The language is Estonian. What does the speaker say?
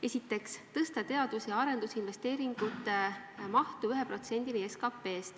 Esiteks, tõsta teadus- ja arendusinvesteeringute mahtu 1%-ni SKP-st.